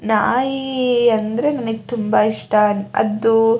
ನಾಯಿ ಅಂದ್ರೆ ನನಗೆ ತುಂಬಾ ಇಷ್ಟ ಅದು --